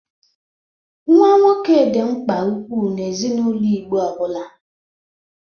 Nwa nwoke dị mgba ukwu n'ezinaụlọ Igbo ọbụla.